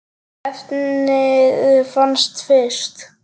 efnið fannst fyrst.